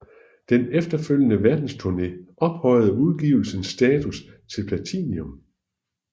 Den efterfølgende verdensturné ophøjede udgivelsens status til platinum